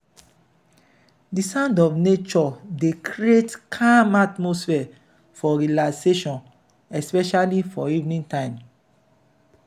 di sounds of nature dey create calm atmosphere for relaxation especially for evening time.